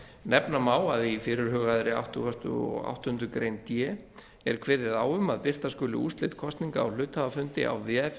nefna má að í fyrirhugaðri áttugasta og áttundu grein d er kveðið á um að birta skuli úrslit kosninga á hluthafafundi á vef